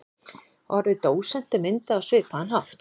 Orðið dósent er myndað á svipaðan hátt.